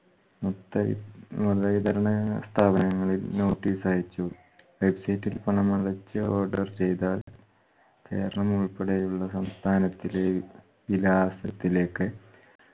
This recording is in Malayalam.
മുത്തഴി വിതരണാ സ്ഥാപനങ്ങളിൽ notice അയച്ചു. website ഇൽ പണമടച്ച് order ചെയ്‌താൽ കേരളം ഉൾപ്പെടെയുള്ള സംസ്ഥാനത്തിലെ വിലാസത്തിലേക്ക്